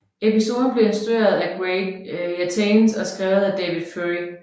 Episoden blev instrueret af Greg Yataines og skrevet af David Fury